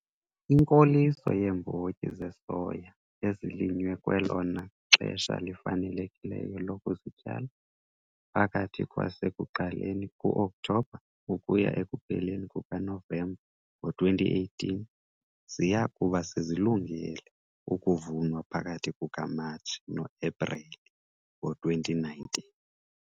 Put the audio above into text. Inkoliso yeembotyi zesoya ezilinywe kwelona xesha lifanelekileyo lokuzityala, phakathi kwasekuqaleni kuOkthobha ukuya ekupheleni kukaNovemba ngo-2018 ziya kuba sezilungele ukuvunwa phakathi kukaMatshi noEpreli ngo-2019.